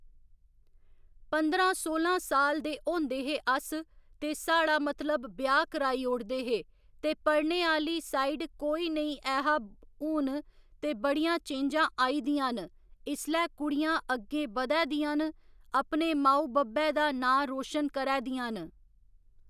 पंदरां सोलां साल दे होंदे हे अस ते साढ़ा मतलब ब्याह् कराई ओड़दे हे ते पढ़ने आह्‌ली साइड कोई नेईं ऐहा हुन ते बड़ियां चेंजां आई दियां न इसलै कुड़ियां अग्गें बधै दियां न अपने माऊ बब्बै दा नांऽ रोशन करै दियां न